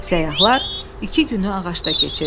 Səyyahlar iki günü ağacda keçirdilər.